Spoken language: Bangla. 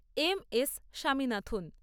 M S Swaminathan